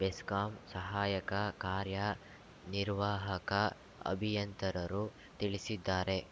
ಬೆಸ್ಕಾಂ ಸಹಾಯಕ ಕಾರ್ಯನಿರ್ವಾಹಕ ಅಭಿಯಂತರರು ತಿಳಿಸಿದ್ದಾರೆ